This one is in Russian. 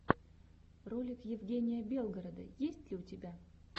ролик евгения белгорода есть ли у тебя